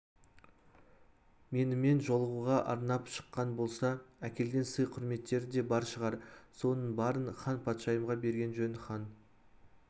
менімен жолығуға арнап шыққан болса әкелген сый-құрметтері де бар шығар соның барын ханпатшайымға берген жөн хан